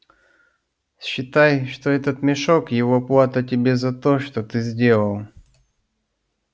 считай что этот мешок его плата тебе за то что ты сделал